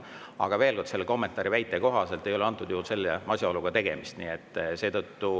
Aga veel kord, selle kommentaari kohaselt ei ole antud juhul selle asjaoluga tegemist.